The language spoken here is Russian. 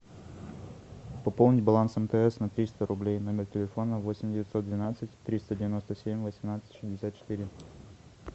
пополнить баланс мтс на триста рублей номер телефона восемь девятьсот двенадцать триста девяносто семь восемнадцать шестьдесят четыре